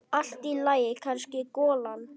Allt í lagi, kannski golan.